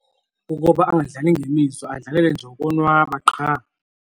Kukuba angadlali ngemizwa adlalele nje ukonwaba qha.